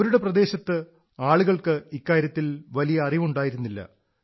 അവരുടെ പ്രദേശത്ത് ആളുകൾക്ക് ഇക്കാര്യത്തിൽ വലിയ അറിവുണ്ടായിരുന്നില്ല